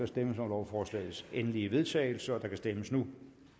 stemmes om lovforslagets endelige vedtagelse og der kan stemmes nu